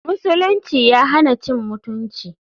musulunci ya hana cin mutunci.